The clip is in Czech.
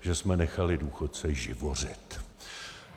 že jsme nechali důchodce živořit.